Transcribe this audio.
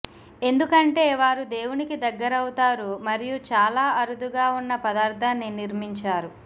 ఎందుకంటే వారు దేవునికి దగ్గరవుతారు మరియు చాలా అరుదుగా ఉన్న పదార్థాన్ని నిర్మించారు